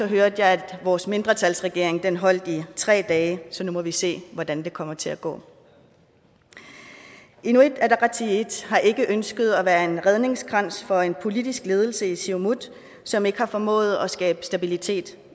hørte jeg at vores mindretalsregering holdt i tre dage så nu må vi se hvordan det kommer til at gå inuit ataqatigiit har ikke ønsket at være en redningskrans for en politisk ledelse i siumut som ikke har formået at skabe stabilitet